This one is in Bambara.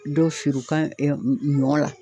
Dɔ feere o ka ɛ ɲɔ la